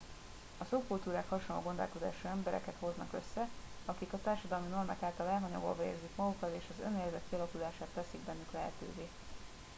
a szubkultúrák hasonló gondolkodású embereket hoznak össze akik a társadalmi normák által elhanyagolva érzik magukat és az önérzet kialakulását teszik bennük lehetőve